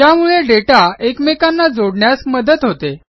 ज्यामुळे दाता एकमेकांना जोडण्यास मदत होते